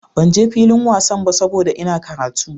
Ban je filin wasan ba saboda Ina karatu.